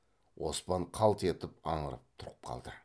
оспан қалт етіп аңырып тұрып қалды